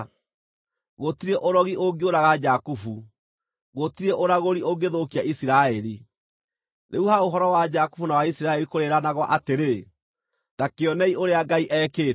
Gũtirĩ ũrogi ũngĩũraga Jakubu, gũtirĩ ũragũri ũngĩthũkia Isiraeli. Rĩu ha ũhoro wa Jakubu na wa Isiraeli kũrĩĩranagwo atĩrĩ, ‘Ta kĩonei ũrĩa Ngai ekĩte!’